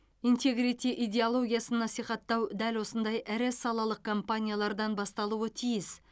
интегрити идеологиясын насихаттау дәл осындай ірі салалық компаниялардан басталуы тиіс